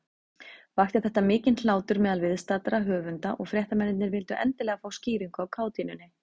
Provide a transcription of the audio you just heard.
Vakti þetta mikinn hlátur meðal viðstaddra höfunda, og fréttamennirnir vildu endilega fá skýringu á kátínunni.